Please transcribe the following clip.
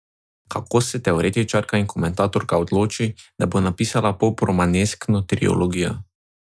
Kako se teoretičarka in komentatorka odloči, da bo napisala pop romaneskno trilogijo?